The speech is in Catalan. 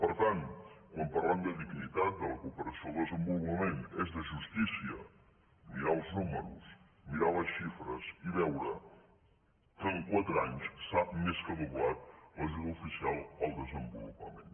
per tant quan parlem de dignitat de la cooperació al desenvolupament és de justícia mirar els números mirar les xifres i veure que en quatre anys s’ha més que doblat l’ajuda oficial al desenvolupament